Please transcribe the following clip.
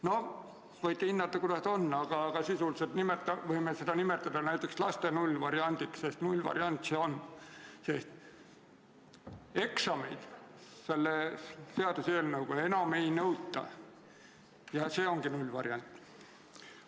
No võite ise hinnata, kuidas tahes, aga sisuliselt võime seda eelnõu nimetada näiteks laste nullvariandiks, sest nullvariant see on, kuna eksameid selle seaduseelnõuga enam ei nõuta ja see ongi nullvariant.